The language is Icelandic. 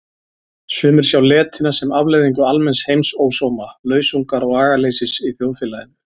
Sumir sjá letina sem afleiðingu almenns heimsósóma, lausungar og agaleysis í þjóðfélaginu.